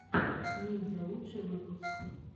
ниндзя лучший выпуск